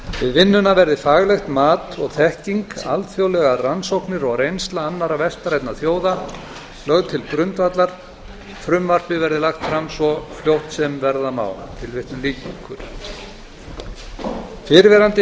vinnuna verði faglegt mat og þekking alþjóðlegar rannsóknir og reynsla annarra vestrænna þjóða lögð til grundvallar frumvarpið verði lagt fram svo fljótt sem verða má fyrrverandi